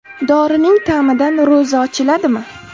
Dorining ta’midan ro‘za ochiladimi?.